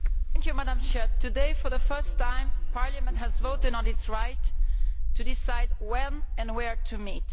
Madam President, today, for the first time, Parliament has voted on its right to decide when and where to meet.